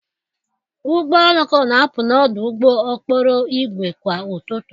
Ụgbọ oloko na-apụ n'ọdụ ụgbọ okporo ígwè kwa ụtụtụ.